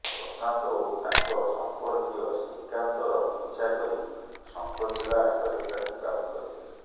ପ୍ରଶାନ୍ତ ଓ ତାଙ୍କ ସମ୍ପର୍କୀୟ ଶ୍ରୀକାନ୍ତର ପିଛା କରି ଶଙ୍ଖଚିଲା ହାଟରେ ତାକୁ କାବୁ କରିଥିଲେ